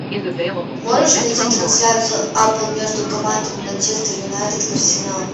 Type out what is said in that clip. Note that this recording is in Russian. можешь найти трансляцию апл между командами манчестер юнайтед арсенал